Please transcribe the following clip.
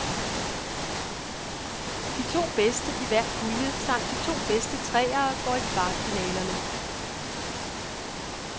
De to bedste i hver pulje samt de to bedste treere går i kvartfinalerne.